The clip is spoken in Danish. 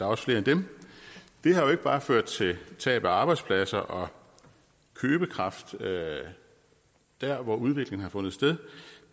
også flere end dem det har jo ikke bare ført til tab af arbejdspladser og købekraft der hvor udviklingen har fundet sted